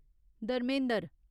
Dharmendra